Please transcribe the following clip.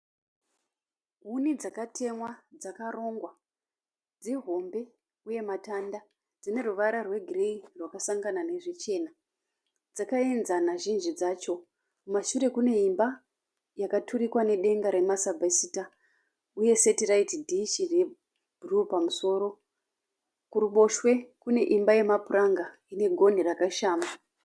Huni dzakatemwa dzakarongwa, dzihombe uye matanda dzine ruvara rwegireyi rwakasangana nezvichena. Dzakaenzana zhinji dzacho. Kumashure kune imba yakaturikwa nedenga remasabesita uye setiraiti dishi rebhuruu pamusoro. Kuruboshwe kune imba yemapuranga ine gonhi rakashama.